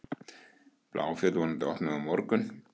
Bláfjöll vonandi opnuð á morgun